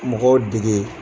Mɔgɔw dege